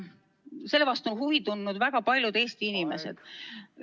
Selle vastu on huvi tundnud väga paljud Eesti inimesed.